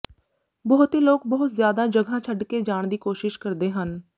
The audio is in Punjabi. ਬਹੁਤੇ ਲੋਕ ਬਹੁਤ ਜ਼ਿਆਦਾ ਜਗ੍ਹਾ ਛੱਡ ਕੇ ਜਾਣ ਦੀ ਕੋਸ਼ਿਸ਼ ਕਰਦੇ ਹਨ